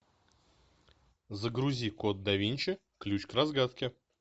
загрузи код да винчи ключ к разгадке